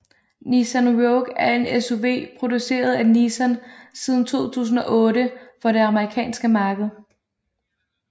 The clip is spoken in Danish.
Nissan Rogue er en SUV produceret af Nissan siden 2008 for det amerikanske marked